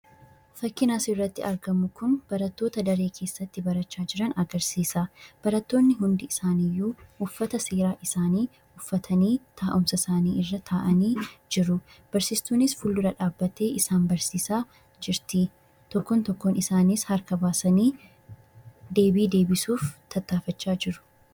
Fakkiin asirratti argamu kun barattoota daree keessatti barachaa jiran agarsiisa. Barattoonni hundi isaaniiyyuu uffata seeraa isaanii uffatanii, taa'umsa isaanii irra taa'anii jiru. Barsiistuunis fuuldura isaanii dhaabbattee isaan barsiisaa jirti. Tokkoon tokkoon isaaniis harka baasanii deebii deebisuuf tattaafachaa jiru.